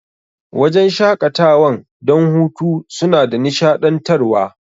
Wajan shaƙatawan don hutu suna da nishaɗantar wa